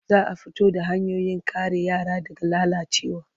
Za a fito da hanyoyin kare yara daga lalacewa.